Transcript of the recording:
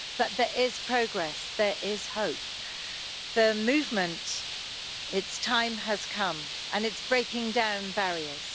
but there is progress, there is hope. The movement, its time has come, and it is breaking down barriers.